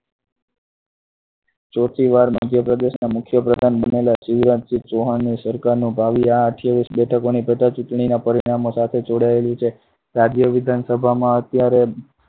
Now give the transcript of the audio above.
ચોથી વાર મધ્યપ્રદેશમાં મુખ્ય પ્રધાન બનેલા શિવરાજસિંહ ચૌહાણની સરકારનો ભાવિ આ અઠ્યાવીસ બેઠકોની પેટા ચુંટણી ના પરિણામો સાથે જોડાયેલી છે. રાજ્ય વિધાનસભામાં અત્યારે